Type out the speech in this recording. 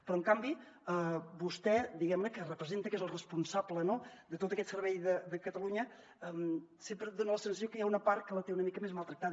però en canvi vostè diguem ne que representa que és el responsable de tot aquest servei de catalunya sempre em dona la sensació que hi ha una part que la té una mica més maltractada